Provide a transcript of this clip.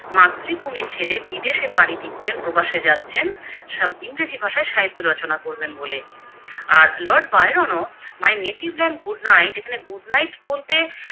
মাতৃভূমি ছেড়ে বিদেশে পারি দিচ্ছেন প্রবাসে যাচ্ছেন সাম ইংরেজি ভাষায় সাহিত্য রচনা করবেন বলে, আর লর্ড বায়রন ও My native land good night এখানে Good night বলতে